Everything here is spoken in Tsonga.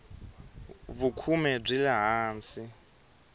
vukhume byi le hansi